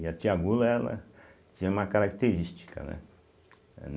E a tia Gula, ela tinha uma característica, né? eh